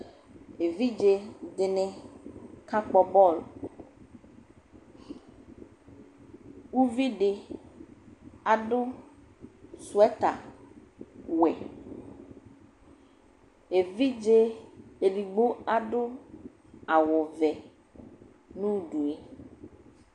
Evidze dɩnɩ ka kpɔ bɔl Uvidɩ adʋ sweatɛr wɛ evidze edigbo adʋ awʋ vɛ n'udu yɛ